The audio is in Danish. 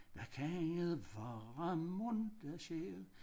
Hvad kan det være mon der sker